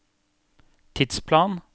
tidsplan